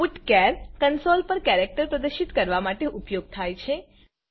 putchar console પર character પ્રદર્શિત કરવા માટે ઉપયોગ થાય છે